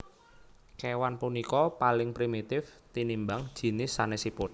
Kéwan punika paling primitif tinimbang jinis sanèsipun